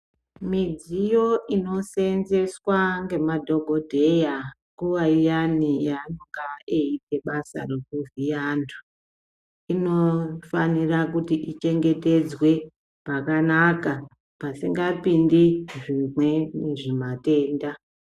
Midziyo inosenzeswa ngemadhogodheya nguva iyani yanonga achiita basa rekuvhiya antu. Inofanira kuti ichengetedzwe pakanaka pasingapindi zvirwe zvimatenda.